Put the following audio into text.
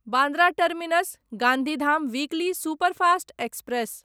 Bandra terminus Gandhidham weekly superfast express